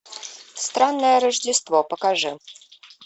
странное рождество покажи